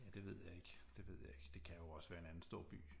Ja det ved jeg ikke det ved jeg ikke det kan jo også være en anden stor by